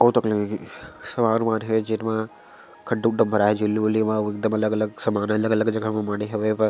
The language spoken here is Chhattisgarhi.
ओ तकी सामान उमान हे जेनमा खड्डा उड्डा म भराय हे झिल्ली उल्ली म आऊ एकदम अलग-अलग सामान अलग-अलग जगह म माढ़हे हावय--